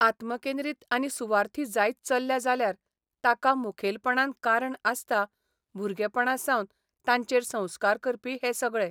आत्मकेंद्रीत आनी सुवार्थी जायत चल्ल्या जाल्यार ताका मुखेलपणान कारण आसता भुरगेपणासावन तांचेर संस्कार करपी हे सगळे.